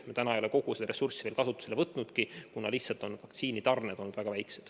Me ei ole kogu seda ressurssi veel kasutusele võtnudki, kuna lihtsalt vaktsiinitarned on olnud väga väikesed.